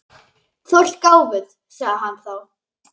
Þú ert gáfuð, sagði hann þá.